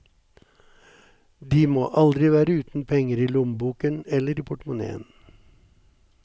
De må aldri være uten penger i lommeboken eller i portemoneen.